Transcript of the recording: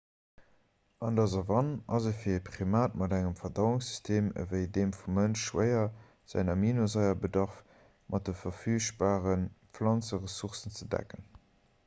an der savann ass et fir e primat mat engem verdauungssystem ewéi deem vum mënsch schwéier säin aminosaierbedarf mat de verfügbare planzeressourcen ze decken